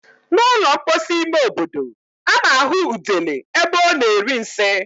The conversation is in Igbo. N' ụlọ mposi ime obodo, a na-ahụ udele ebe ọ na-eri nsị.